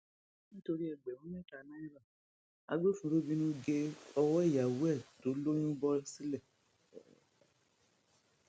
nítorí ẹgbẹrún mẹta náírà agbófinró bínú gé owó ìyàwó ẹ tó lóyún bọ sílẹ